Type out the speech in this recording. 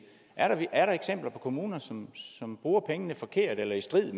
er der eksempler på kommuner som som bruger pengene forkert eller i strid